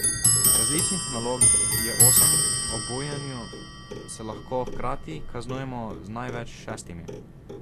Različnih nalog je osem, ob bujenju se lahko hkrati kaznujemo z največ šestimi.